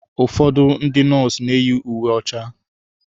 Ụfọdụ ndị nọọsụ na-eyi uwe ọcha.